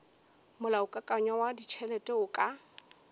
molaokakanywa wa ditšhelete o ka